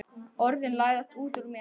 Orðin læðast út úr mér.